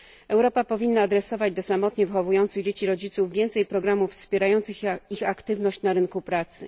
Europa powinna adresować do rodziców samotnie wychowujących dzieci więcej programów wspierających ich aktywność na rynku pracy.